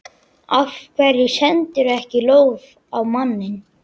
Af hverju sendirðu ekki lóð á manninn?